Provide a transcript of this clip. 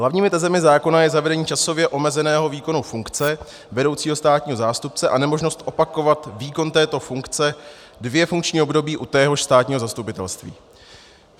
Hlavními tezemi zákona je zavedení časově omezeného výkonu funkce vedoucího státního zástupce a nemožnost opakovat výkon této funkce dvě funkční období u téhož státního zastupitelství.